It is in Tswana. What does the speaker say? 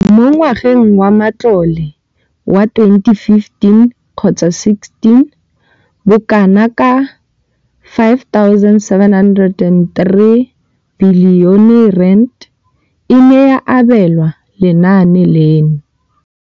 Mo ngwageng wa matlole wa 2015,16, bokanaka R5 703 bilione e ne ya abelwa lenaane leno.